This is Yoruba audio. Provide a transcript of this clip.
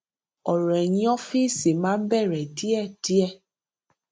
ọrọ ẹyìn ọfìsì máa ń bẹrẹ díẹdíẹ